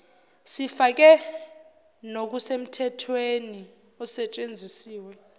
sifake nokusemthethwei osetshenzisiwe